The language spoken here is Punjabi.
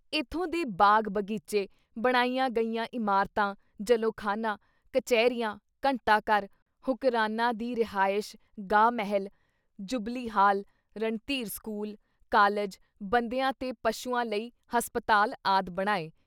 ਏਥੋਂ ਦੇ ਬਾਗ-ਬਗੀਚੇ, ਬਣਾਈਆ ਗਈਆਂ ਇਮਾਰਤਾਂ ਜਲੌਖਾਨਾ, ਕਚਹਿਰੀਆਂ, ਘੰਟਾ-ਘਰ, ਹੁਕਰਾਨਾਂ ਦੀ ਰਿਹਾਇਸ਼-ਗਾਹ ਮਹੱਲ, ਜੁਬਲੀ-ਹਾਲ, ਰਣਧੀਰ ਸਕੂਲ, ਕਾਲਿਜ, ਬੰਦਿਆਂ ਤੇ ਪਸ਼ੂਆਂ ਲਈ ਹਸਪਤਾਲ ਆਦਿ ਬਣਾਏ।